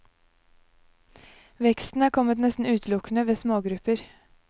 Veksten har kommet nesten utelukkende ved smågrupper.